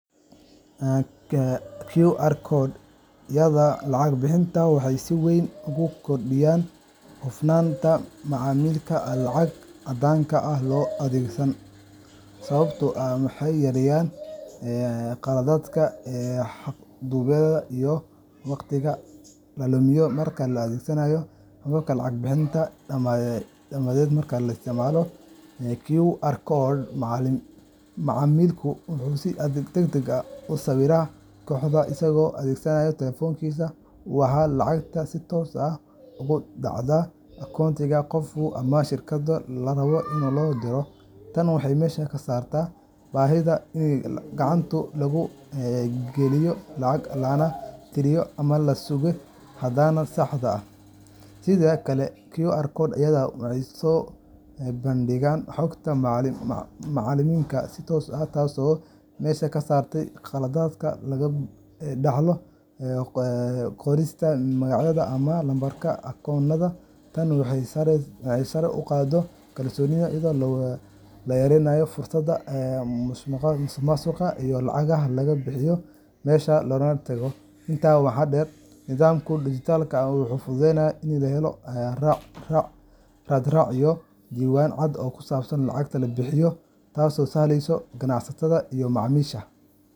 QR codeyada lacag-bixinta waxay si weyn u kordhiyaan hufnaanta macaamilka aan lacag caddaanka ah loo adeegsan, sababtoo ah waxay yareeyaan khaladaadka, xadgudubyada, iyo waqtiga la lumiyo marka la adeegsanayo hababka lacag-bixinta dhaqameed. Marka la isticmaalo QR code, macaamilku wuxuu si degdeg ah u sawiraa koodhka isagoo adeegsanaya taleefankiisa, waxaana lacagta si toos ah ugu dhacdaa akoonka qofka ama shirkadda la rabo in loo diro. Tani waxay meesha ka saartaa baahida in gacanta lagu geliyo lacag, lana tiriyo ama la sugayo hadhaaga saxda ah. Sidoo kale, QR codeyada waxay soo bandhigaan xogta macaamilka si toos ah, taasoo meesha ka saaraysa khaladaadka laga dhaxlo qorista magacyo ama lambarrada akoonnada. Tani waxay sare u qaaddaa kalsoonida, iyadoo la yareeyo fursadda musuqmaasuqa iyo lacagaha laga leexiyo meeshii loogu talagalay. Intaa waxaa dheer, nidaamkan dijitaalka ah wuxuu fududeeyaa in la helo raad-raac iyo diiwaan cad oo ku saabsan lacagaha la bixiyay, taasoo u sahlaysa ganacsatada iyo macaamiisha .